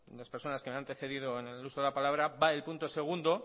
las personas que me han antecedido en el uso de la palabra va el punto segundo